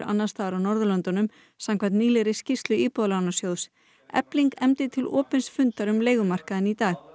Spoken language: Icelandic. annars staðar á Norðurlöndunum samkvæmt nýlegri skýrslu Íbúðalánasjóðs efling efndi til opins fundar um leigumarkaðinn í dag